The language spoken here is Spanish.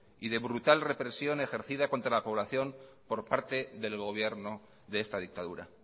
y de brutal represión ejercida contra la población por parte del gobierno de esta dictadura